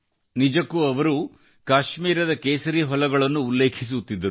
ನಿಜಕ್ಕೆ ಅವರು ಕಾಶ್ಮೀರದ ಕೇಸರಿ ಹೊಲಗಳನ್ನು ಉಲ್ಲೇಖಿಸುತ್ತಿದ್ದರು